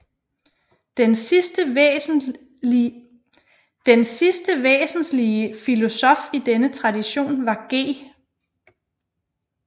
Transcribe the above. Den sidste væsenslige filosof i denne tradition var G